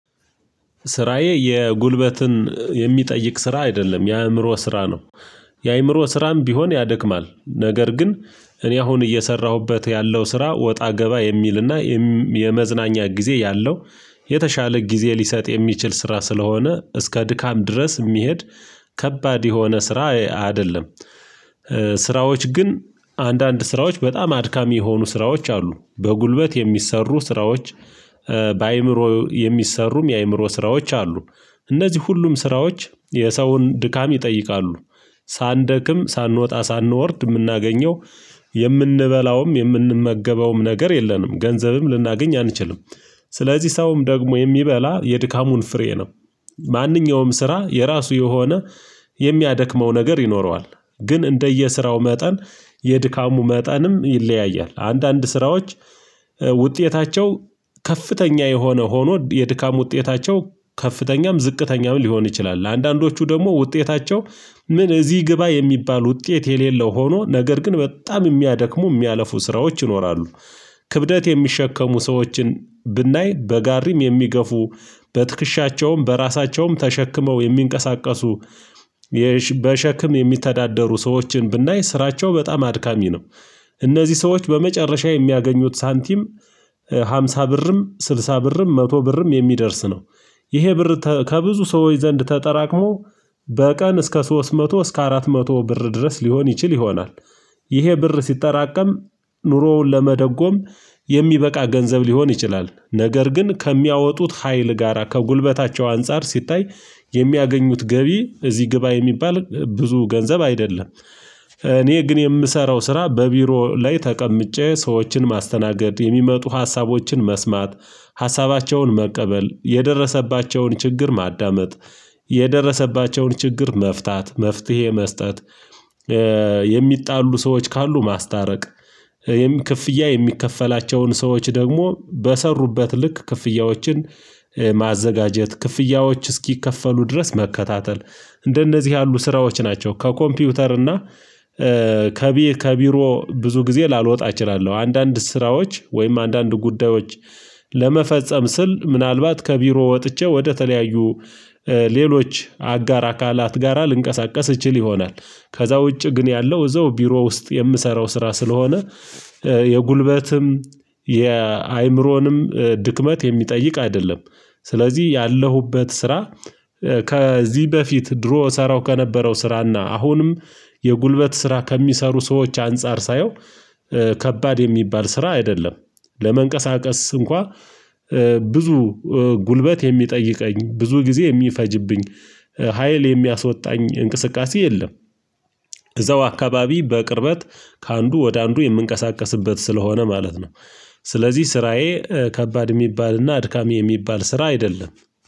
ስራዬ የጉልበትን የሚጠይቅ ስራ አይደለም የአእምሮ ስራ ነው የአእምሮ ስራም ቢሆን ያደክማል ነገር ግን እኔ አሁን እየሰራሁበት ያለው ስራ ወጣ ገባ የሚልና የመዝናኛ ጊዜ ያለው የተሻለ ጊዜ ሊሰጥ የሚችል ስራ ስለሆነ እስከ ድካም ድረስ የሚሄድ ከባድ የሆነ ስራ አይአደለም ስራዎች ግን አንዳንድ ስራዎች በጣም አድካሚ የሆኑ ስራዎች አሉ በጉልበት የሚሰሠሩ ስራዎች በአእምሮ የሚሠሩም የአእምሮ ስራዎች አሉ። እነዚህ ሁሉም ስራዎች የሰውን ድካም ይጠይቃሉ። ሳንደክም ሳንወጣ ሳንወርድ የምናገኘው የምንበላውም የምንመገበውም ነገር የለንም ገንዘብም ልናገኝ አንችልም ስለዚህ ሰውም ደግሞ የሚበላ የድካሙን ፍሬ ነው ማንኛውም ስራ የራሱ የሆነ የሚያደክመው ነገር ይኖረዋል ግን እንደየሥራው መጠን የድካሙ መጠንም ይለያያል አንዳንድ ስራዎች ውጤታቸው ከፍተኛ የሆነ ሆኖ የድካም ውጤታቸው ከፍተኛም ዝቅተኛም ሊሆን ይችላል ለአንዳንዶቹ ደግሞ ውጤታቸው ምን እዚህ ግባ የሚባል ውጤት የሌለው ሆኖ ነገር ግን በጣም የሚያደክሙ የሚያለፉ ስራዎች ይኖራሉ ክብደት የሚሸከሙ ሰዎችን ብናይ በጋሪም የሚገፉ በትክሻቸውም በራሳቸውም ተሸክመው የሚንቀሳቀሱ የሽ በሸክም የሚተዳደሩ ሰዎችን ብናይ ሥራቸው በጣም አድካሚ ነው እነዚህ ሰዎች በመጨረሻ የሚያገኙት ሳንቲም ሃምሳ ብርም ስልሳ ብርም መቶ ብርም የሚደርስ ነው ይሄ ብር ከብዙ ተ ሰዎች ዘንድ ተጠራቅሞ በቀን እስከ ሶስት መቶ እስከ አራት መቶ ብር ድረስ ሊሆን ይችል ይሆናል ይሄ ብር ሲጠራቀም ኑሮውን ለመደጎም የሚበቃ ገንዘብ ሊሆን ይችላል ነገር ግን ከሚያወጡት ኀይል ጋራ ከጉልበታቸው አንፃር ሲታይ የሚያገኙት ገቢ እዚህ ግባ የሚባል ብዙ ገንዘብ አይደለም እኔ ግን የምሰራው ስራ በቢሮ ላይ ተቀምጬ ሰዎችን ማስተናገድ የሚመጡ ሀሳቦችን መስማት ሀሳባቸውን መቀበል የደረሰባቸውን ችግር ማዳመጥ የደረሰባቸውን ችግር መፍታት መፍትሄ መስጠት የሚጣሉ ሰዎች ካሉ ማስታረቅ የም ክፍያ የሚከፈላቸውን ሰዎች ደግሞ በሠሩበት ልክ ክፍያዎችን ማዘጋጀት ክፍያዎች እስኪከፈሉ ድረስ መከታተል እንደነዚህ ያሉ ስራዎች ናቸው ከኮምፒውተር እና ከቢ ከቢሮ ብዙ ጊዜ ላልወጣ እችላለሁ አንዳንድ ስራዎች ወይም አንዳንድ ጉዳዮች ለመፈጸም ስል ምናልባት ከቢሮ ወጥቼ ወደተለያዩ ሌሎች አጋር አካላት ጋራ ልንቀሳቀስ እችል ይሆናል ከዛ ውጪ ግን ያለው እዛው ቢሮ ውስጥ የምሠረው ስራ ስለሆነ የጉልበትም የአእምሮንም ድክመት የሚጠይቅ አይደለም ስለዚህ ያለሁበት ስራ ከዚህ በፊት ድሮ እሠረው ከነበረው ስራና አሁንም የጉልበት ስራ ከሚሰሩ ሰዎች አንፃር ሳየው ከባድ የሚባል ስራ አይደለም ለመንቀሳቀስ እንኳን ብዙ ጉልበት የሚጠይቀኝ ብዙ ጊዜ የሚፈጅብኝ ሀይል የሚያስወጣኝ እንቅስቃሴ የለም እዛው አካባቢ በቅርበት ከአንዱ ወደ አንዱ የምንቀሳቀስበት ስለሆነ ማለት ነው ስለዚህ ስራዬ ከባድ የሚባልና አድካሚ የሚባል ስራ አይደለም